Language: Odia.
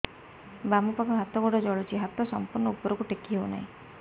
ବାମପାଖ ହାତ ଗୋଡ଼ ଜଳୁଛି ହାତ ସଂପୂର୍ଣ୍ଣ ଉପରକୁ ଟେକି ହେଉନାହିଁ